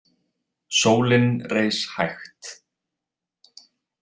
Sólin reis hægt.